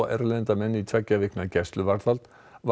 erlenda menn í tveggja vikna gæsluvarðhald